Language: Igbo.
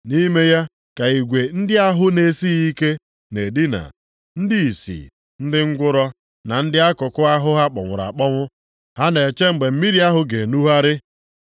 Nʼime ya ka igwe ndị ahụ na-esighị ike na-edina; ndị ìsì, ndị ngwụrọ, na ndị akụkụ ahụ ha kpọnwụrụ akpọnwụ, ha na-eche mgbe mmiri ahụ ga-enugharị.